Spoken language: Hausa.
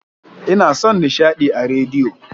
Ina son nishadi a rediyo.